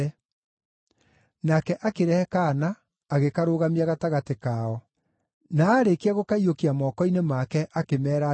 Nake akĩrehe kaana agĩkarũgamia gatagatĩ kao. Na aarĩkia gũkaiyũkia moko-inĩ make, akĩmeera atĩrĩ,